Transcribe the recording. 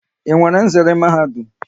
Ị nwere nzere Mahadum?